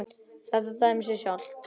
Þetta dæmir sig sjálft.